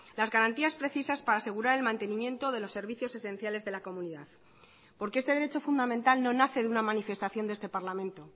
las garantías precisas para asegurar el mantenimiento de los servicios esenciales de la comunidad porque este derecho fundamental no nace de una manifestación de este parlamento